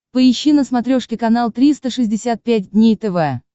поищи на смотрешке канал триста шестьдесят пять дней тв